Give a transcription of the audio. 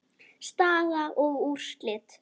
Staða og úrslit